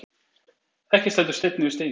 Ekki stendur steinn yfir steini